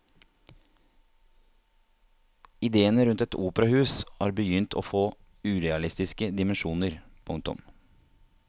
Idéene rundt et operahus har begynt å få urealistiske dimensjoner. punktum